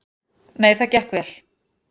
Nei, það gekk vel.